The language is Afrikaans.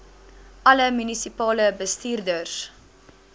alle munisipale bestuurders